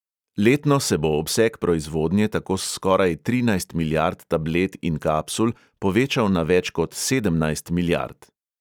Letno se bo obseg proizvodnje tako s skoraj trinajst milijard tablet in kapsul povečal na več kot sedemnajst milijard.